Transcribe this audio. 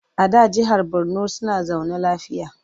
A da jahar Borno suna zaune lafiya.